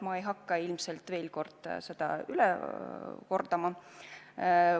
Ma ei hakka veel kord seda üle kordama.